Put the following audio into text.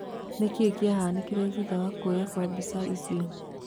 Nĩkĩĩ kiahanĩkirĩ thutha wa kuoyuo kwa mbica icio